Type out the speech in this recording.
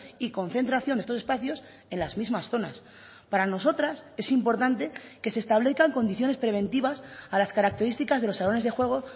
y concentración de estos espacios en las mismas zonas para nosotras es importante que se establezcan condiciones preventivas a las características de los salones de juego